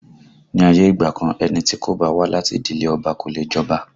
Ní ayé ìgbà kan, ẹni tí kò bá wá láti ìdílé Ọba kò leè jọba